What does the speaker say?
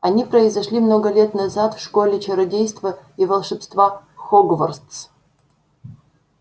они произошли много лет назад в школе чародейства и волшебства хогвартс